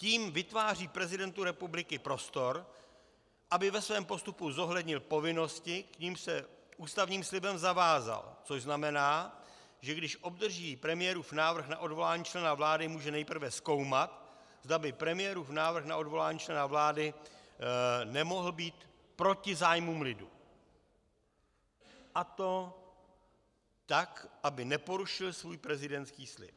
Tím vytváří prezidentu republiky prostor, aby ve svém postupu zohlednil povinnosti, k nimž se ústavním slibem zavázal, což znamená, že když obdrží premiérův návrh na odvolání člena vlády, může nejprve zkoumat, zda by premiérův návrh na odvolání člena vlády nemohl být proti zájmům lidu, a to tak, aby neporušil svůj prezidentský slib.